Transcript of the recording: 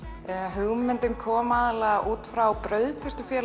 hugmyndin koma aðallega út frá